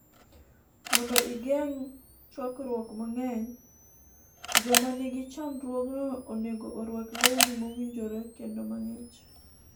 mondo igeng' chwakruok mang'eny joma nigi chandruogno onego orwak lewni mowinjore kendo mang'ich